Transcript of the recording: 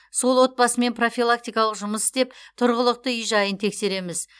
сол отбасымен профилактикалық жұмыс істеп тұрғылықты үй жайын тексереміз